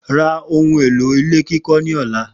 Ra ohun èlò ilé kíkó̩ ni ò̩la!